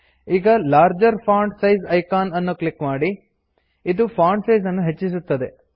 ಈಗ larger font size icon ಅನ್ನು click ಮಾಡಿ ಇದು ಫಾಂಟ್ ಸೈಜ್ ಅನ್ನು ಹೆಚ್ಚಿಸುತ್ತದೆ